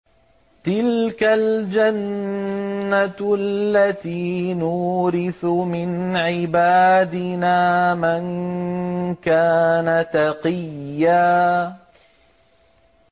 تِلْكَ الْجَنَّةُ الَّتِي نُورِثُ مِنْ عِبَادِنَا مَن كَانَ تَقِيًّا